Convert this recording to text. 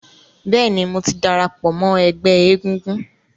Bẹ́ẹ̀ ni, mò ti darapọ̀ mọ́ ẹgbẹ́ egúngún.